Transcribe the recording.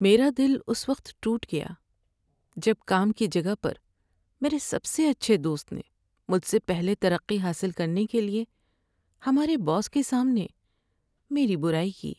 میرا دل اس وقت ٹوٹ گیا جب کام کی جگہ پر میرے سب سے اچھے دوست نے مجھ سے پہلے ترقی حاصل کرنے کے لیے ہمارے باس کے سامنے میری برائی کی۔